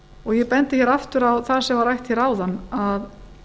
og ég bendi aftur á það sem var rætt áðan að